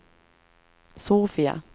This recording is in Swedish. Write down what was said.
Sofia